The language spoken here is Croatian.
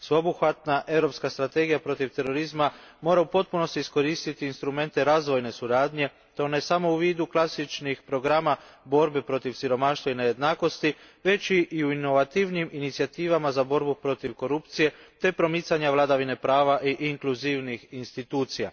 Sveobuhvatna europska strategija protiv terorizma mora u potpunosti iskoristiti instrumente razvojna suradnje i to ne samo u vidu klasičnih programa borbe protiv siromaštva i nejednakosti već i u inovativnijim inicijativama u borbi protiv korupcije te promicanju vladavine prava i inkluzivnih institucija.